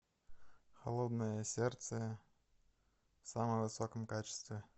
холодное сердце в самом высоком качестве